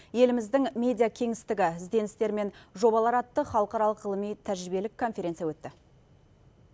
еліміздің медиа кеңістігі ізденістер мен жобалар атты халықаралық ғылыми тәжірибелік конференция өтті